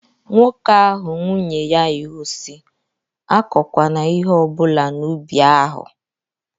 Nwoke ahụ nwunye ya iwu sị, Akọkwana ihe ọbụla n'ubi ahụ!